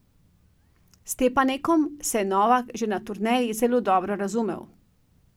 S Stepanekom se je Novak že na turneji zelo dobro razumel.